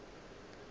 fase o se ke wa